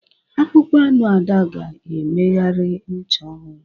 Akpụkpọ anụ Ada ga-emegharị ncha ọhụrụ